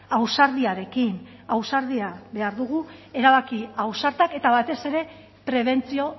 ausardiarekin ausardia behar dugu erabaki ausartak eta batez ere prebentzio